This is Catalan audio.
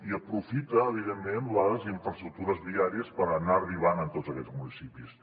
i aprofita evidentment les infraestructures viàries per anar arribant a tots aquests municipis